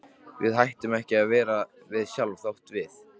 Við hættum ekki að vera við sjálf þótt við.